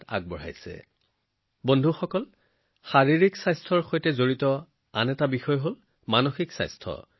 বন্ধুসকল বৰ্তমান শাৰীৰিক স্বাস্থ্য আৰু সুস্থতাৰ বিষয়ে বহু কথাই চৰ্চা হৈছে কিন্তু ইয়াৰ সৈতে জড়িত আন এটা গুৰুত্বপূৰ্ণ দিশ হল মানসিক স্বাস্থ্য